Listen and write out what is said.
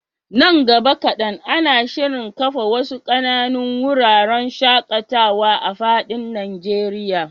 Nan gaba kaɗan, ana shirin kafa wasu ƙananun wuraren shaƙatawa a fadin Najeriya.